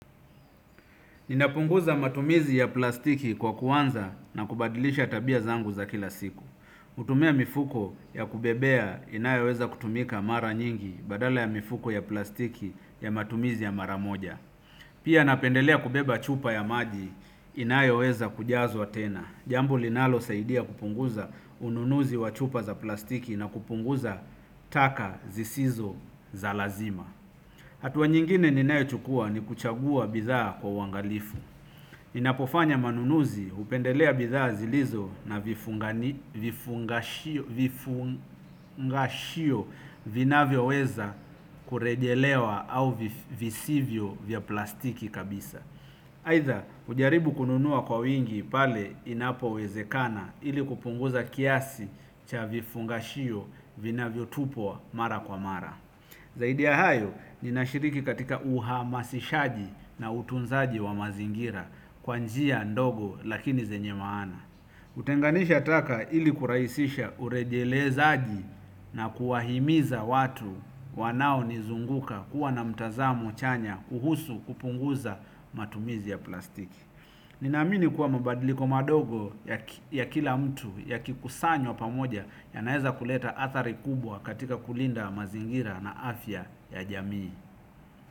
Ninapunguza matumizi ya plastiki kwa kuanza na kubadilisha tabia zangu za kila siku. Htumia mifuko ya kubebea inayeweza kutumika mara nyingi badala ya mifuko ya plastiki ya matumizi ya mara moja. Pia napendelea kubeba chupa ya maji inayeweza kujazwa tena. Jambo linalosaidia kupunguza ununuzi wa chupa za plastiki na kupunguza taka zisizo za lazima. Hatua nyingine ninayochukua ni kuchagua bidhaa kwa uangalifu. Ninapofanya manunuzi hupendelea bidhaa zilizo na vifungashio. Vinavyoweza kurejelewa au visivyo vya plastiki kabisa. Aidha, hujaribu kununua kwa wingi pale inapowezekana ili kupunguza kiasi cha vifungashio vinavyotupwa mara kwa mara. Zaidi ya hayo ninashiriki katika uhamasishaji na utunzaji wa mazingira kwa njia ndogo lakini zenye maana. Hutenganisha taka ili kurahisisha urejelezaji na kuwahimiza watu wanaonizunguka kuwa na mtazamo chanya kuhusu kupunguza matumizi ya plastiki. Ninaamini kuwa mabadiliko madogo ya kila mtu ya kikusanyo pamoja yanaweza kuleta athari kubwa katika kulinda mazingira na afya ya jamii.